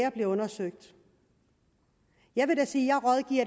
og bliver undersøgt jeg vil da sige